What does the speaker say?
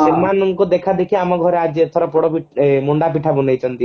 ସେମାନଙ୍କ ଦେଖା ଦେଖି ଆମ ଘରେ ଆଜି ଏଥର ପୋଡାପିଠା ଏ ମଣ୍ଡା ପିଠା ବନେଇଛନ୍ତି